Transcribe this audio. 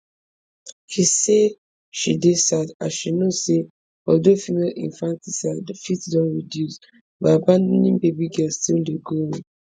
she say she dey sad as she know say although female infanticide fit don reduce but abandoning baby girls still dey go on